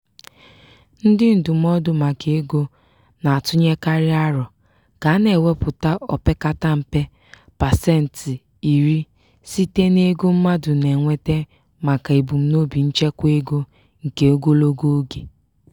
ndị ndụmọdụ maka ego na-atụnyekarị aro ka a na-ewepụta opekata mpe pasentị iri site n'ego mmadụ na-enweta maka ebumnobi nchekwaego nke ogologo oge.